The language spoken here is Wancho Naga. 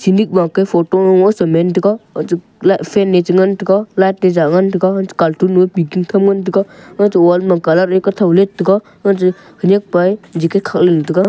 enik ma kya photo mo se man taiga fan e ngan tai ga light e ja ngan tai ga cartoon nu a peking tham ngan tega wall ma colour a kothow let tega khanekpa e jacket khat ngan taiga.